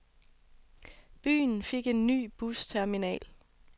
Byen fik en ny busterminal.